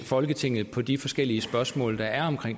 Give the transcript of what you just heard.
folketinget på de forskellige spørgsmål der er om